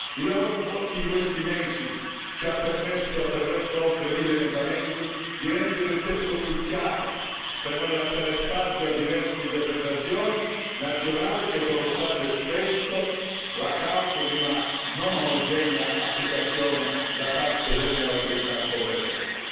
Il lavoro svolto in questi mesi ci ha permesso, attraverso oltre mille emendamenti, di rendere il testo più chiaro per non lasciare spazio a diverse interpretazioni nazionali che sono state spesso la causa di una non omogenea applicazione da parte delle autorità competenti.